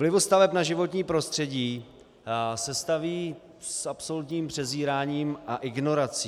Vlivu staveb na životní prostředí se staví s absolutním přezíráním a ignorací.